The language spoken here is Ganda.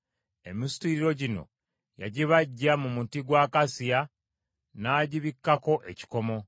Emisituliro gino yagibajja mu muti gwa akasiya, n’agibikkako ekikomo.